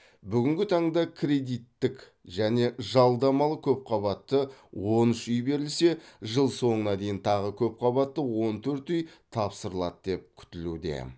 бүгінгі таңда кредиттік және жалдамалы көпқабатты он үш үй берілсе жыл соңына дейін тағы көпқабатты он төрт үй тапсырылады деп күтілуде